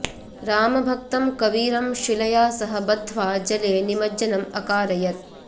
रामभक्तं कबीरं शिलया सह बद्ध्वा जले निमज्जनम् अकारयत्